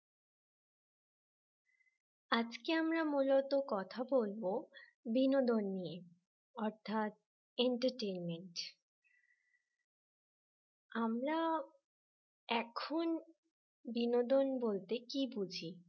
আজকে আমরা মূলত কথা বলবো বিনোদন নিয়ে অর্থাৎ entertainment নিয়ে আমরা এখন বিনোদন বলতে কি বুঝি